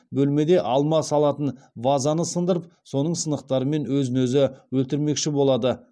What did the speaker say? бөлмеде алма салатын вазаны сындырып соның сынықтарымен өз өзін өлтірмекші болады